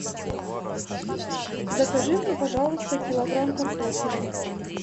закажи мне пожалуйста килограмм картофеля